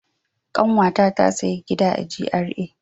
Kanwata ta sayi gida a GRA.